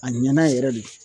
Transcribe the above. A ɲɛna yɛrɛ de.